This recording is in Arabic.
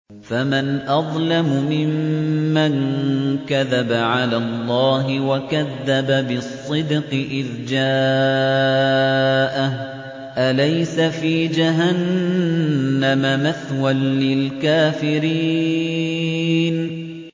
۞ فَمَنْ أَظْلَمُ مِمَّن كَذَبَ عَلَى اللَّهِ وَكَذَّبَ بِالصِّدْقِ إِذْ جَاءَهُ ۚ أَلَيْسَ فِي جَهَنَّمَ مَثْوًى لِّلْكَافِرِينَ